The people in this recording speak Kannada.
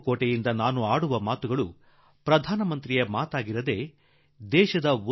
ಕೆಂಪುಕೋಟೆಯ ಮೇಲಿನಿಂದ ಹೇಳುವ ಮಾತುಗಳು ಪ್ರಧಾನಮಂತ್ರಿಯ ಮಾತಾಗಿರಬಾರದೆಂದು ನಾನು ಅಪೇಕ್ಷಿಸುವೆ